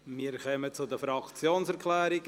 Wir kommen zu den Fraktionserklärungen;